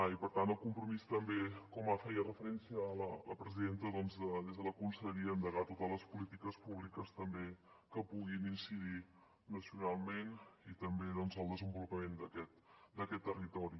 i per tant el compromís també com feia referència la presidenta des de la conselleria a endegar totes les polítiques públiques que puguin incidir nacionalment i també en el desenvolupament d’aquest territori